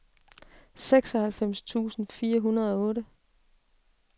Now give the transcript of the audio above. seksoghalvfems tusind fire hundrede og otte